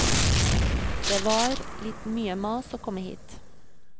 Det var litt mye mas å komme hit.